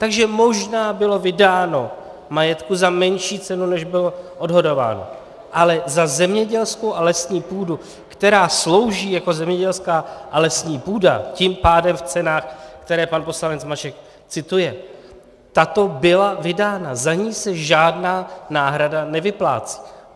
Takže možná bylo vydáno majetku za menší cenu, než bylo odhadováno, ale za zemědělskou a lesní půdu, která slouží jako zemědělská a lesní půda, tím pádem v cenách, které pan poslanec Mašek cituje, tato byla vydána, za ni se žádná náhrada nevyplácí.